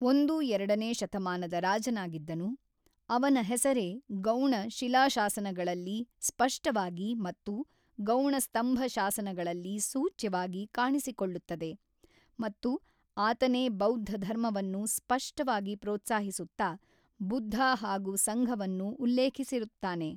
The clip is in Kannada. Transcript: ಒಂದು-ಎರಡನೇ ಶತಮಾನದ ರಾಜನಾಗಿದ್ದನು, ಅವನ ಹೆಸರೇ ಗೌಣ ಶಿಲಾಶಾಸನಗಳಲ್ಲಿ ಸ್ಪಷ್ಟವಾಗಿ ಮತ್ತು ಗೌಣ ಸ್ತಂಭಶಾಸನಗಳಲ್ಲಿ ಸೂಚ್ಯವಾಗಿ ಕಾಣಿಸಿಕೊಳ್ಳುತ್ತದೆ, ಮತ್ತು ಆತನೇ ಬೌದ್ಧಧರ್ಮವನ್ನು ಸ್ಪಷ್ಟವಾಗಿ ಪ್ರೋತ್ಸಾಹಿಸುತ್ತಾ, ಬುದ್ಧ ಹಾಗೂ ಸಂಘವನ್ನು ಉಲ್ಲೇಖಿಸಿರುತ್ತಾನೆ.